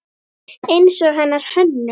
Eins og hennar Hönnu.